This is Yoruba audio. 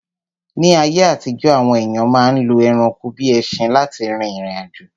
Ní ayé àtijọ́, àwọn èyàn ma ń lo ẹranko bíi ẹṣin lá ti rìrìn àjò.